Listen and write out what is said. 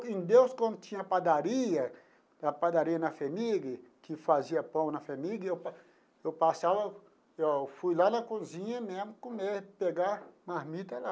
Em Deus, quando tinha padaria, a padaria na FHEMIG, que fazia pão na FHEMIG, eu pa eu passava, eu fui lá na cozinha mesmo comer, pegar marmita lá.